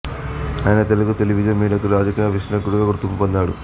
ఆయన తెలుగు టెలివిజన్ మీడియాకు రాజకీయ విశ్లేషకునిగా గుర్తింపు పొందాడు